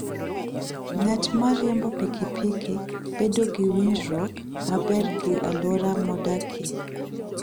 Ng'at ma riembo pikipiki bedo gi winjruok maber gi alwora modakie.